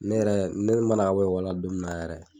Ne yɛrɛ ne mana ka bɔ la don min na yɛrɛ.